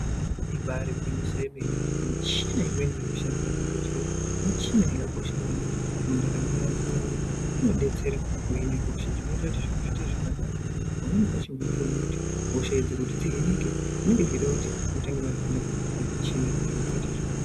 Ibaari gwinyiso yemene, michina imweni irikushandiswa muzvibhedhleya michina inokosha maningi mundaramo yeanhu, nguwa inoti inodetsere kuhine hosha, zvinoitakuti zviro zviite zvakanaka. Pamweni pacho unotoona kuti hosha idzi kuti dzihinike zvinenge zveida kuti mutange mavhenekwa ngemuchina, zviro zvoite zvakanaka.